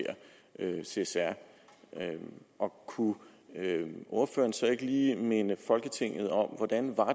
csr og kunne ordføreren så ikke lige minde folketinget om hvordan